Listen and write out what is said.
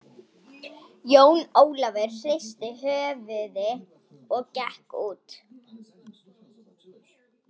Jón Ólafur hristi höfuði og gekk út.